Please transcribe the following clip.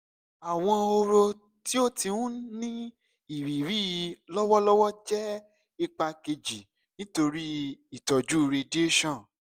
awọn ọrọ ti o ti n ni iriri lọwọlọwọ jẹ ipa keji nitori itọju radiation